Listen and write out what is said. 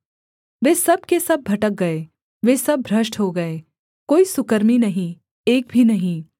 वे सब के सब भटक गए वे सब भ्रष्ट हो गए कोई सुकर्मी नहीं एक भी नहीं